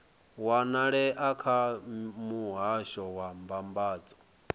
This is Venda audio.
wanalea kha muhasho wa mbambadzo